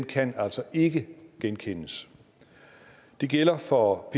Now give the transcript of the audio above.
kan altså ikke genkendes det gælder for